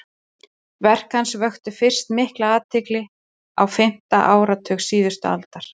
verk hans vöktu fyrst mikla athygli á fimmta áratug síðustu aldar